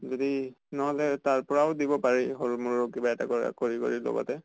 যদি নহলে তাৰ পৰাও দিব পাৰি সিৰু মৰু কিবা এটা কৰা কৰি কৰি লগতে।